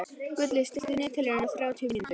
Gulli, stilltu niðurteljara á þrjátíu mínútur.